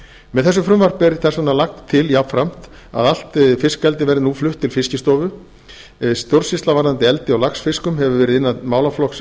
með þessu frumvarpi er þess vegna lagt til jafnframt að allt fiskeldi verði nú flutt til fiskistofu stjórnsýsla varðandi eldi á laxfiskum hefur verið innan málaflokks